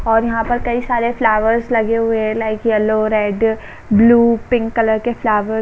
और यहाँ पर कई सारे फ्लावर्स लगे हुए हैं। Like yellow red blue pink colour के फ्लाव --